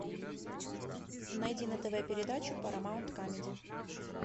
найди на тв передачу парамаунт камеди